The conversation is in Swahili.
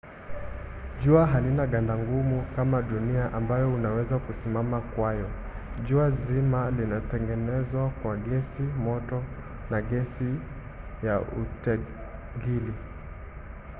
jua halina ganda gumu kama dunia ambayo unaweza kusimama kwayo. jua zima limetengenezwa kwa gesi moto na gesi ya utegili